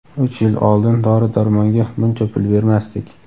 "Uch yil oldin dori-darmonga buncha pul bermasdik".